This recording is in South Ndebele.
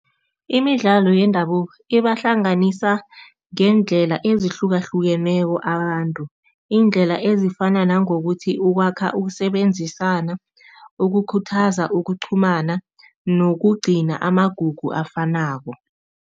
Imidlalo yendabuko ibahlanganisa ngeendlela ezihlukahlukeneko abantu. Iindlela ezifana nangokuthi ukwakha, ukusebenzisana, ukukhuthaza, ukuqhumana nokugcina amagugu afanako.